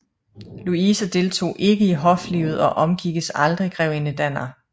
Louise deltog ikke i hoflivet og omgikkes aldrig Grevinde Danner